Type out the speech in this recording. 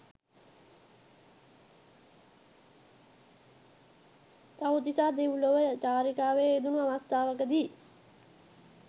තවුතිසා දෙව්ලොව චාරිකාවේ යෙදුණූ අවස්ථාවකදී